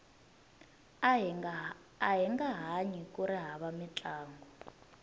ahinga hanyi kuri hava mintlangu